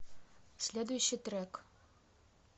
следующий трек